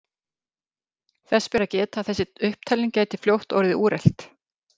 Þess ber að geta að þessi upptalning gæti fljótt orðið úrelt.